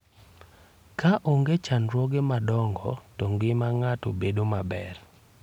Ka onge chandruoge madongo, to ngima ng'ato bedo maber.